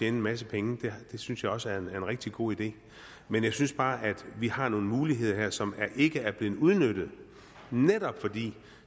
en masse penge det synes jeg også er en rigtig god idé men jeg synes bare at vi har nogle muligheder her som ikke er blevet udnyttet netop fordi